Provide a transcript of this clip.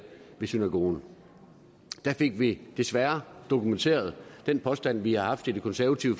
ved synagogen der fik vi desværre dokumenteret den påstand vi har haft i det konservative